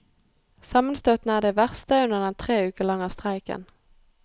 Sammenstøtene er de verste under den tre uker lange streiken.